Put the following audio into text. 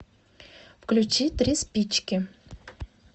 включи три спички